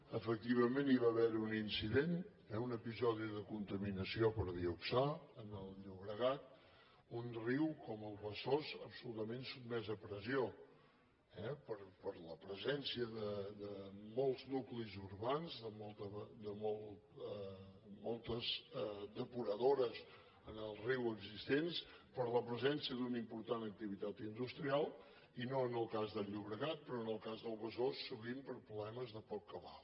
efectivament hi va haver un incident un episodi de contaminació per dioxà en el llobregat un riu com el besòs absolutament sotmès a pressió per la presència de molts nuclis urbans de moltes depuradores en el riu existents per la presència d’una important activitat industrial i no en el cas del llobregat però en el cas del besòs sovint per problemes de poc cabal